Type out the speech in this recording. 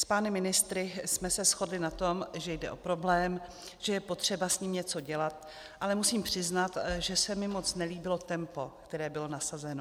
S pány ministry jsme se shodli na tom, že jde o problém, že je potřeba s ním něco dělat, ale musím přiznat, že se mi moc nelíbilo tempo, které bylo nasazeno.